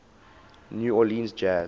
new orleans jazz